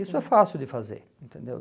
Isso é fácil de fazer, entendeu?